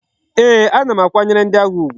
Ee,a na akwanyere ndi agha ugwu